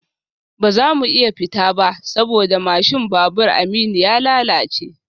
Ba za mu iya fita ba saboda mashin babur Aminu ya lalace